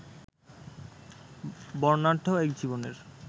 বর্ণাঢ্য এক জীবনের